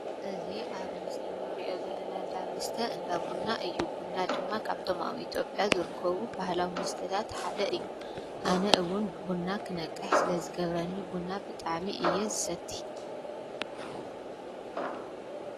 እዚ ኣብ ምስሊ እንርእዮ ዘለና እንዳ መስተ እንዳ ቡና እዩ። ቡና ድማ ካብቶም ኣብ ኢትዮጵያ ዝርከቡ ባህላዊ መሰተታት ሓደ እዩ። ኣነ እዉን ቡና ክነቅሕ ስለ ዝገብረኒ ቡና ብጣዕሚ እየ ዝሰቲ።